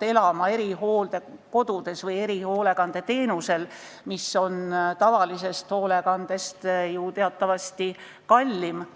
elama erihooldekodus või saama erihoolekandeteenust, mis on tavalisest hoolekandest ju teatavasti kallim.